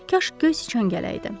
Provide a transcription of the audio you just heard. Kaş göy siçan gələrdi!